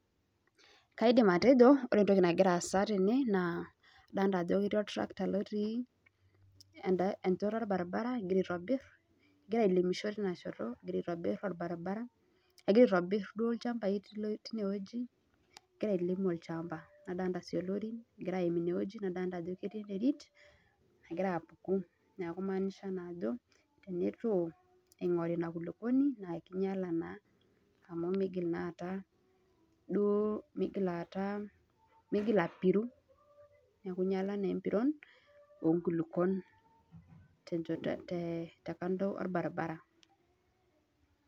Kaidim atejo ore entoki nagira aasa tene naa adolita ajo ketii oltrakta lotii enchoto orbaribara, egira aitobirr, egira ailimisho teina shoto, egira aitobirr orbaribara, egira aitobirr duo ilchambai teine wuei, egira ailim olchamba. Nadolita sii ilorin egira aaim inewueji nadolita ajo ketii enterit nagira apuku neeku imaanisha naa ajo tenetu eing'ori ina kulukwoni naa kinyala naa amu miigil naa aata duo, miigil aata, miigil apiru. Neeku inyala naa empiron oo nkulukwon tekando orbaribara